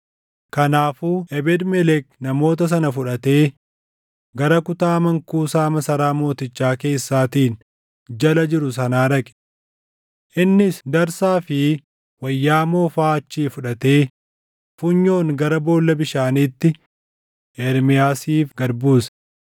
Kanaafuu Ebeed-Melek namoota sana fudhatee gara kutaa mankuusaa masaraa mootichaa keessaatiin jala jiru sanaa dhaqe. Innis darsaa fi wayyaa moofaa achii fudhatee funyoon gara boolla bishaaniitti Ermiyaasiif gad buuse.